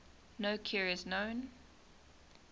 no cure is known